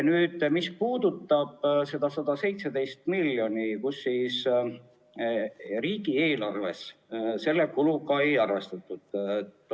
Nüüd sellest, mis puudutab seda 117 miljonit eurot, kulu, millega riigieelarves ei arvestatud.